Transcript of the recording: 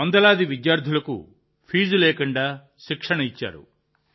వందలాది విద్యార్థులకు ఫీజు లేకుండా శిక్షణ కూడా ఇచ్చారు